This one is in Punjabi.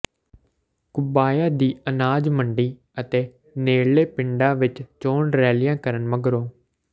ਘੁਬਾਇਆ ਦੀ ਅਨਾਜ ਮੰਡੀ ਅਤੇ ਨੇੜਲੇ ਪਿੰਡਾਂ ਵਿਚ ਚੋਣ ਰੈਲੀਆਂ ਕਰਨ ਮਗਰੋਂ